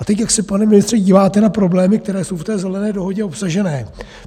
A teď, jak se, pane ministře, díváte na problémy, které jsou v té Zelené dohodě obsažené?